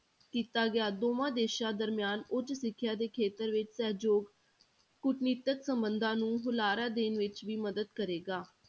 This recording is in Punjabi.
ਕੀਤਾ ਗਿਆ, ਦੋਵਾਂ ਦੇਸਾਂ ਦਰਮਿਆਨ ਉੱਚ ਸਿੱਖਿਆ ਦੇ ਖੇਤਰ ਵਿੱਚ ਸਹਿਯੋਗ ਕੂਟਨੀਤਿਕ ਸੰਬੰਧਾਂ ਨੂੰ ਹੁਲਾਰਾ ਦੇਣ ਵਿੱਚ ਵੀ ਮਦਦ ਕਰੇਗਾ।